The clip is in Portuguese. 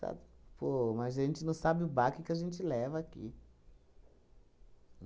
Pô, mas gente não sabe o baque que a gente leva aqui.